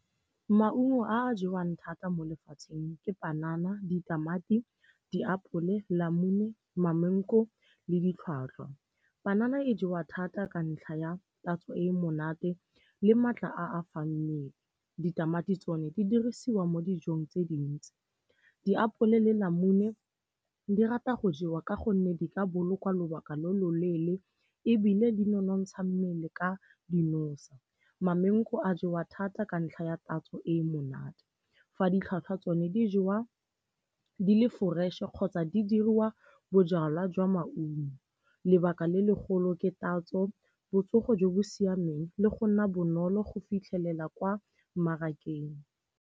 Maungo a a jewang thata mo lefatsheng ke panana, ditamati, diapole, lamune, ma-mango le ditlhwatlhwa. Panana e jewa thata ka ntlha ya tatso e monate le maatla a a fang mmele. Ditamati tsone di dirisiwa mo dijong tse dintsi, diapole le lamune di rata go jewa ka gonne di ka bolokwa lobaka lo loleele ebile di nonontsha mmele ka dinosa. Ma-mango a jewa thata ka ntlha ya tatso e monate, fa ditlhwatlhwa tsone di jewa di le fresh-e kgotsa di diriwa bojalwa jwa maungo. Lebaka le legolo ke tatso, botsogo jo bo siameng le go nna bonolo go fitlhelela kwa mmarakeng.